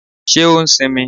Ṣé o ṣì ń mí?